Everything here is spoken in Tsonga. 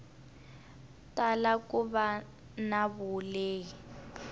tala ku va na vulehi